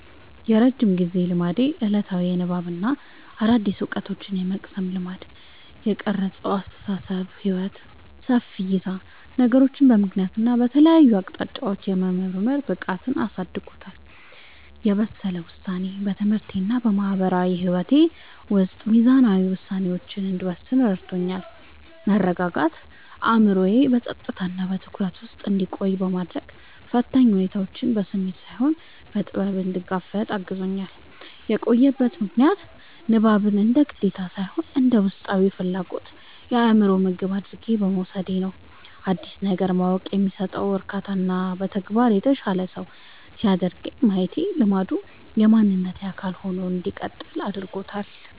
የረጅም ጊዜ ልማዴ፦ ዕለታዊ የንባብና አዳዲስ ዕውቀቶችን የመቅሰም ልማድ። የቀረጸው አስተሳሰብና ሕይወት፦ ሰፊ ዕይታ፦ ነገሮችን በምክንያትና በተለያዩ አቅጣጫዎች የመመርመር ብቃትን አሳድጎልኛል። የበሰለ ውሳኔ፦ በትምህርቴና በማህበራዊ ሕይወቴ ውስጥ ሚዛናዊ ውሳኔዎችን እንድወስን ረድቶኛል። መረጋጋት፦ አእምሮዬ በጸጥታና በትኩረት ውስጥ እንዲቆይ በማድረግ፣ ፈታኝ ሁኔታዎችን በስሜት ሳይሆን በጥበብ እንድጋፈጥ አግዞኛል። የቆየበት ምክንያት፦ ንባብን እንደ ግዴታ ሳይሆን እንደ ውስጣዊ ፍላጎትና የአእምሮ ምግብ አድርጌ በመውሰዴ ነው። አዲስ ነገር ማወቅ የሚሰጠው እርካታና በተግባር የተሻለ ሰው ሲያደርገኝ ማየቴ ልማዱ የማንነቴ አካል ሆኖ እንዲቀጥል አድርጎታል።